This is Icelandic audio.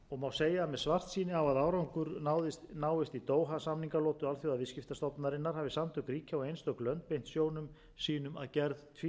segja að með svartsýni á að árangur náist í doha samningalotu alþjóðaviðskiptastofnunarinnar hafa samtök ríkja og einstök lönd beint sjónum sínum að gerð tvíhliða fríverslunarsamninga